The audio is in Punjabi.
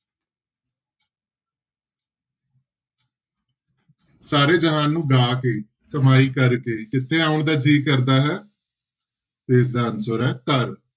ਸਾਰੇ ਜਹਾਨ ਨੂੰ ਗਾਹ ਕੇ ਕਮਾਈ ਕਰਕੇ ਕਿੱਥੇ ਆਉਣ ਦਾ ਜੀਅ ਕਰਦਾ ਹੈ ਤੇ ਇਸਦਾ answer ਹੈ ਘਰ।